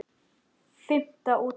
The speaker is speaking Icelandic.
Fimmta útgáfa.